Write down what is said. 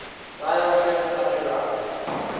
niels klim's underground